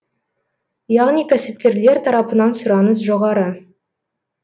яғни кәсіпкерлер тарапынан сұраныс жоғары